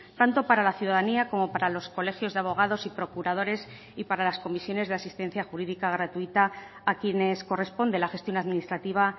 tanto para la ciudadanía como para los colegios de abogados y procuradores y para las comisiones de asistencia jurídica gratuita a quienes corresponde la gestión administrativa